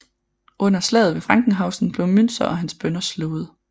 Under slaget ved Frankenhausen blev Müntzer og hans bønder slået